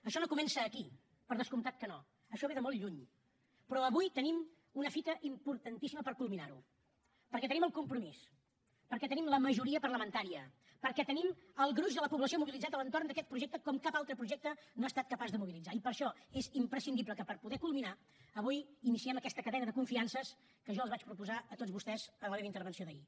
això no comença aquí per descomptat que no això ve de molt lluny però avui tenim una fita importantíssima per culminar ho perquè tenim el compromís perquè tenim la majoria parlamentària perquè tenim el gruix de la població mobilitzat a l’entorn d’aquest projecte com cap altre projecte no ha estat capaç de mobilitzar i per això és imprescindible que per poder ho culminar avui iniciem aquesta cadena de confiances que jo els vaig proposar a tots vostès en la meva intervenció d’ahir